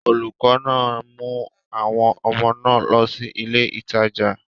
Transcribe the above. Olùkọ́ náà mú àwọn ọmọ náà lọ sí ilé ìtajà.